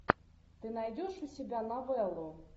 ты найдешь у себя новеллу